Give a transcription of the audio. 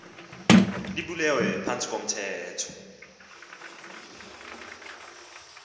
lubulewe phantsi komthetho